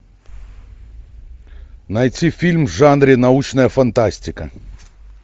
найти фильм в жанре научная фантастика